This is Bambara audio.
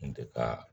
Kun tɛ ka